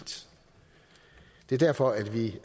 det er derfor at vi